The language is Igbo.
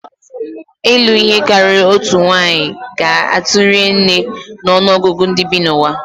Ịlụ ihe karịrị otu nwanyị ga-atụnye ri nne na ọnụ ọgụgụ ndị bi n'ụwa.